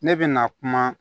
Ne bɛ na kuma